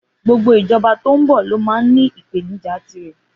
Gbogbo ìjọba tó ń bọ̀ ló máa ní ìpèníjà tirẹ̀.